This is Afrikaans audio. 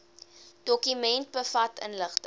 dokument bevat inligting